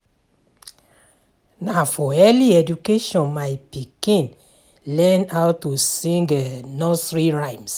Na for early education my pikin learn how to sing nursery rhymes.